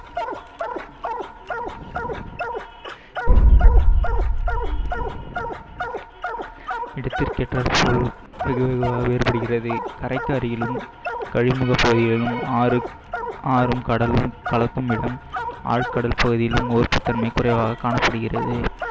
இடதுக்கேற்றார்போல் வேறுபடுகிறது கரைக்கு அடியிலும், கழிமுகப் பகுதிகளிலும், ஆறு ஆறும் கடலும் கலக்குமிடம், ஆழ்கடல் பகுதியிலும் உவர்ப்புத்தன்மை குறைவாக காணப்படுகிறது